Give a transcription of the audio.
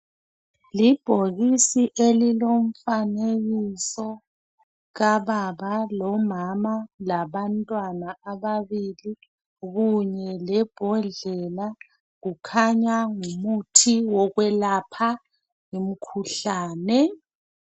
Libhokisi elilomfanekiso kababa lomama labantwana ababili kunye lebhodlela kukhanya ngumuthi wokwelapha umkhuhlane .